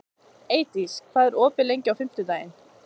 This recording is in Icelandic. Eydís, hvað er opið lengi á fimmtudaginn?